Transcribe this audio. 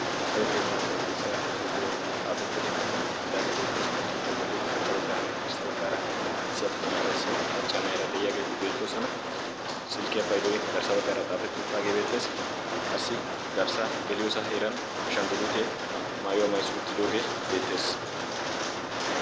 Maayiyo keettaa qonjcissiya xuufee xaafettidi kaketti uttidaageebeettees he xuufiyaa bolli ushachcha baggaaranni Haddirssa baggaaraa issi attumanaara isshe macchaanaira de'iyaageeti beettoosana. silkkiyaa paidoi garssa baggaaraa xaafettiduttaagee beetteesi qassi garssa geliyoosa heeran ashanggulutee maayuwaa mayzi uuttidoogee beettees.